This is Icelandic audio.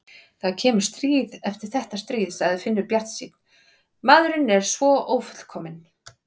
Það kemur stríð eftir þetta stríð, sagði Finnur bjartsýnn, maðurinn er svo ófullkominn.